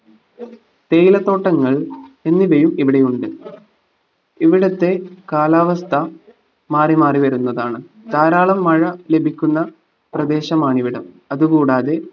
തേയിലത്തോട്ടങ്ങൾ എന്നിവയും ഇവിടെയുണ്ട് ഇവിടത്തെ കാലാവസ്ഥ മാറിമാറി വരുന്നതാണ് ധാരാളം മഴ ലഭിക്കുന്ന പ്രേദേശമാണിവിടം അതു കൂടാതെ